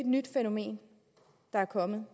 nyt fænomen der er kommet